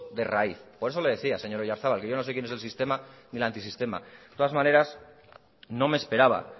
de raíz por eso le decía señor oyarzabal que yo no sé quién es el sistema ni el antisistema de todas maneras no me esperaba